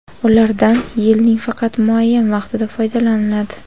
ulardan yilning faqat muayyan vaqtida foydalaniladi.